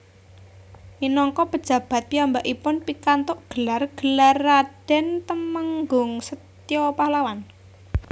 Minangka pejabat piyambakipun pikantuk gelar Gelar Raden Temenggung Setia Pahlawan